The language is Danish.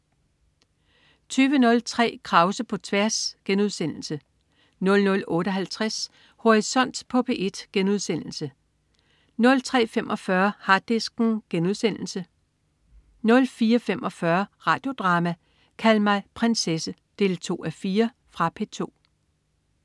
20.03 Krause på tværs* 00.58 Horisont på P1* 03.45 Harddisken* 04.45 Radio Drama: Kald mig prinsesse 2:4. Fra P2